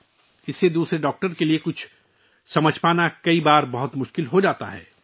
یہ بعض اوقات دوسرے ڈاکٹروں کے لیے سمجھنے کے لیے بہت مشکل بنا دیتا ہے